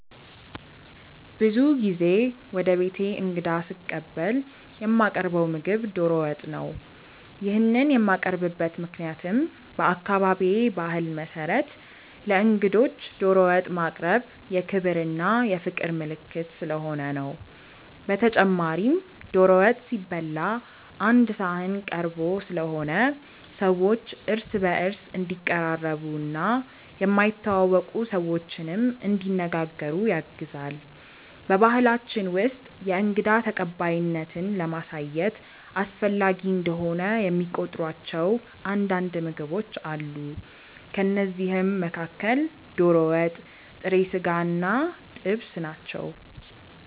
ብዙ ጊዜ ወደ ቤቴ እንግዳ ስቀበል የማቀርው ምግብ ዶሮ ወጥ ነው። ይሄንን የማቀርብበት ምክንያትም በአካባቢዬ ባህል መሰረት ለእንግዶች ዶሮ ወጥ ማቅረብ የክብር እና የፍቅር ምልክት ስለሆነ ነው። በተጨማሪም ዶሮ ወጥ ሲበላ ቀአንድ ሰሀን ተቀርቦ ስለሆነ ሰዎች እርስ በእርስ እንዲቀራረቡ እና የማይተዋወቁ ሰዎችንም እንዲነጋገሩ ያግዛል። በባሕላችን ውስጥ የእንግዳ ተቀባይነትን ለማሳየት አስፈላጊ እንደሆነ የሚቆጥሯቸው አንዳንድ ምግቦች አሉ። ከእነዚህም መካከል ዶሮ ወጥ፣ ጥሬ ስጋ እና ጥብስ ናቸው።